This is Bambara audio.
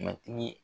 Matigi